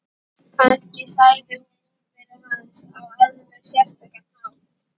Kannski sagði hún númerið hans á alveg sérstakan hátt.